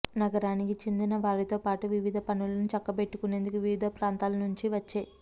నగరానికి చెందిన వారితో పాటు వివిధ పనులను చక్కబెట్టుకునేందుకు వివిధ ప్రాంతాల నుంచి వచ్చే